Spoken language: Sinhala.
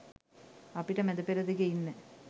අපිට මැද පෙරදිග ඉන්න